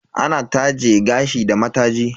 Ana taje gashi da mataji.